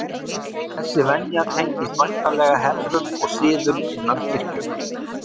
Þessi venja tengist væntanlega hefðum og siðum innan kirkjunnar.